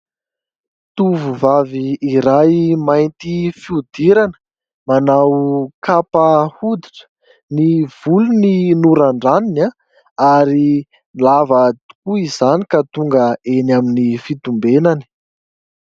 Tovovavy iray mainty fihodirana, manao kapa hoditra, ny volony norandraniny ary lava tokoa izany ka tonga eny amin'ny fitombenany.